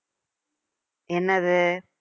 என்னது